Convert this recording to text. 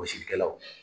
Gosilikɛlaw